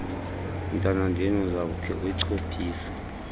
mntanandini uzakukhe uyichophise